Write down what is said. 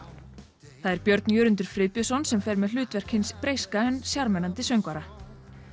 það er Björn Jörundur Friðbjörnsson sem fer með hlutverk hins breyska en sjarmerandi söngvara